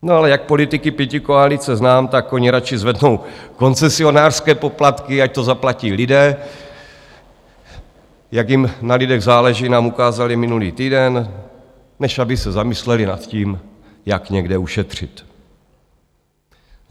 No ale jak politiky pětikoalice znám, tak oni radši zvednou koncesionářské poplatky, ať to zaplatí lidé - jak jim na lidech záleží, nám ukázali minulý týden - než aby se zamysleli nad tím, jak někde ušetřit.